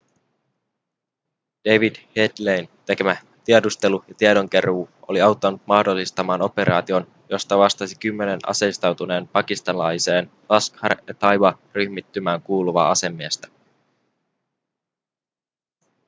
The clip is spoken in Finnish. david headleyn tekemä tiedustelu ja tiedonkeruu oli auttanut mahdollistamaan operaation josta vastasi kymmenen aseistautuneeseen pakistanilaiseen laskhar-e-taiba-ryhmittymään kuuluvaa asemiestä